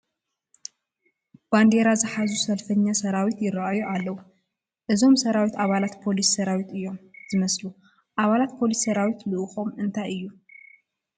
ባንዲራ ዝሓዙ ሰልፈኛ ሰራዊት ይርአዩ ኣለዉ፡፡ እዞም ሰራዊት ኣባላት ፖሊስ ሰራዊት እዮም ዝመስሉ፡፡ ኣባላት ፖሊ ስ ሰራዊት ልኡኾም እንታይ እዩ?